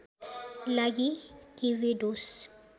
लागि केभेडोस